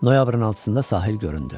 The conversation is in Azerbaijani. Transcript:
Noyabrın 6-da sahil göründü.